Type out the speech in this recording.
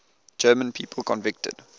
german people convicted